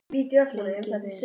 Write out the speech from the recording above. Lengi vel.